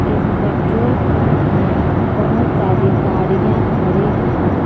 इस petrol pump में बहोत सारी गाड़ियां खड़ी हैं।